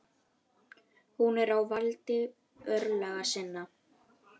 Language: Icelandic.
Hún er á valdi örlaga sinna.